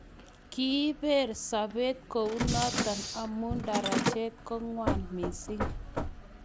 Kiibeer sobet kou notok amu darajet ko ngwan mising.